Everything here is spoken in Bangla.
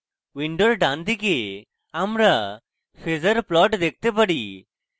window ডানদিকে আমরা phasor plot দেখতে পারি